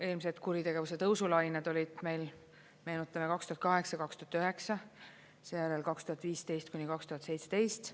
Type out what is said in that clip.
Eelmised kuritegevuse tõusu lained olid meil, meenutame 2008–2009, seejärel 2015–2017.